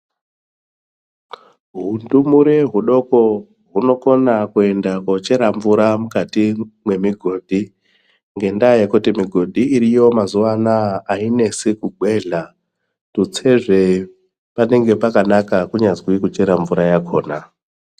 Hundumure hudoko hunokona kuenda kochera mvura mukati mwemigodhi ngendaa yekuti migodhi iriyo mazuwa anaa ainesi kugwehla kutsezve panenge pakanaka kunyazwi kuchere mvura yakhona.